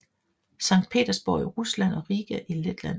Sankt Petersborg i Rusland og Riga i Letland